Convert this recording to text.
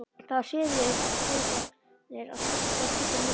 Það er siður eftir heimsóknir að skiptast á slíkum myndum.